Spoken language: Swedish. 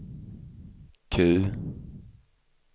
Q